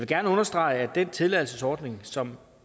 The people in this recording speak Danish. gerne understrege at den tilladelsesordning som